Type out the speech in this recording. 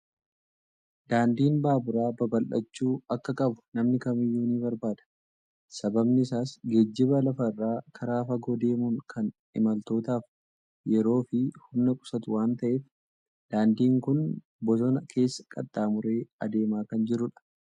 Daandiin baaburaa babal'achuu akka qabu namni kamiiyyuu ni barbaada! Sababni isaas geejjiba lafa irraa karaa fagoo deemuun kan imaltootaaf yeroo fi humna qusatu waan ta'eef. Daandiin kun bosona keessa qaxxaamuree adeemaa kan jirudha.